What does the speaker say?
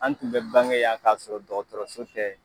An tun bɛ bange yan k'a sɔrɔ dɔgɔtɔrɔso tɛ !